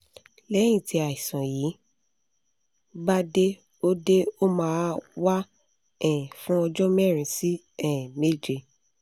lẹ́yìn tí àìsàn yi bá dé ó dé ó máa wà um fún ọjọ́ mẹ́rin sí um méje